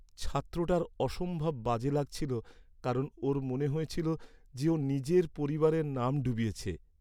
ছাত্রটার অসম্ভব বাজে লাগছিলো কারণ ওর মনে হয়েছিল যে ও নিজের পরিবারের নাম ডুবিয়েছে।